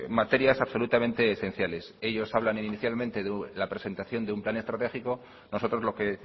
materias absolutamente esenciales ellos hablan inicialmente de la presentación de un plan estratégico nosotros lo que